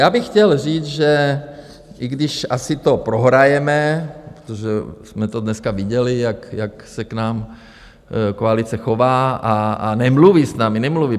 Já bych chtěl říct, že i když asi to prohrajeme, protože jsme to dneska viděli, jak se k nám koalice chová a nemluví s námi, nemluví.